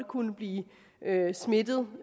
kunne blive smittet